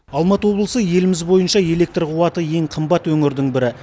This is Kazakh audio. алматы облысы еліміз бойынша электр қуаты ең қымбат өңірдің бірі